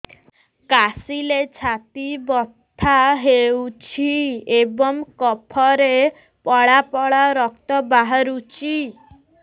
କାଶିଲେ ଛାତି ବଥା ହେଉଛି ଏବଂ କଫରେ ପଳା ପଳା ରକ୍ତ ବାହାରୁଚି